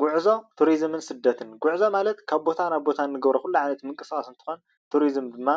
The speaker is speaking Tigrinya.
ጉዕዞ ቱሪዝምን ስደትን ጎዕዞ ማለት ካብ ቦታ ናብ ቦታ ንገብሮ ኩሉ ዓይነት ምንቅስቃሳት እንትኾን፣ ቱሪዝም ድማ